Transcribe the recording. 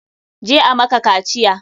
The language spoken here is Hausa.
Je a maka kaciya!